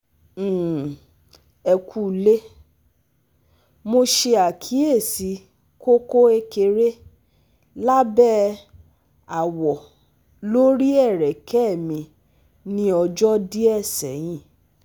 um Ẹ kúlẹ́, mo ṣe àkíyèsí koko ékeré lábẹ́ àwọ̀ lori ẹrẹ́kẹ́ mi ní ọ̀jọ́ díẹ̀ sẹ́yìn